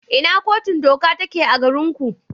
Ina Kotun Doka take a garinku?